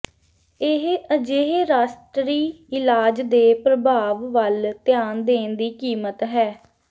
ਇਹ ਅਜਿਹੇ ਰਾਸ਼ਟਰੀ ਇਲਾਜ ਦੇ ਪ੍ਰਭਾਵ ਵੱਲ ਧਿਆਨ ਦੇਣ ਦੀ ਕੀਮਤ ਹੈ